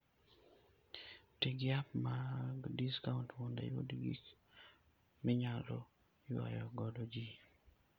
Ti gi app mag discount mondo iyud gik minyalo ywayo godo ji.